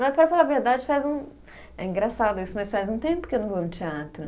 Mas, para falar a verdade, faz um. É engraçado isso, mas faz um tempo que eu não vou ao teatro.